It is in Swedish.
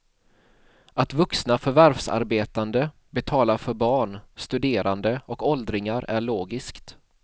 Att vuxna förvärvsarbetande betalar för barn, studerande och åldringar är logiskt.